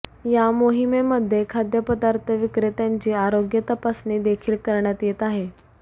या मोहिमेमध्ये खाद्यपदार्थ विक्रेत्यांची आरोग्य तपासणी देखील करण्यात येत आहे